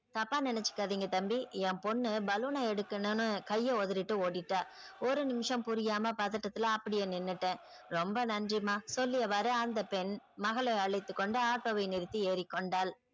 தப்பா நினைச்சுக்காதீங்க தம்பி என் பொண்ணு balloon ன எடுக்கணும் னு கைய ஒதறிட்டு ஓடிட்டா ஒரு நிமிஷம் புரியாம பதட்டத்துல அப்டியே நின்னுட்ட ரொம்ப நன்றிமா சொல்லியவாரு அந்த பெண் மகளை அழைத்துக்கொண்டு auto வை நிறுத்தி ஏறிக்கொண்டாள்.